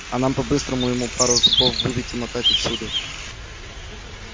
а нам бы по-быстрому ему пару зубов выбить и мотать отсюда